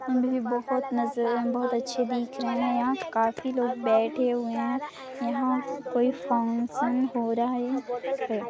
--बहुत नजर बहुत अच्छे दिख रहे है यहाँ काफी लोग बैठे हुए है यहाँ कोई फंगक्सन हो रहा है।